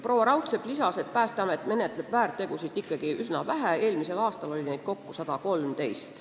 Proua Raudsepp lisas, et Päästeamet menetleb väärtegusid ikkagi üsna vähe, eelmisel aastal oli neid kokku 113.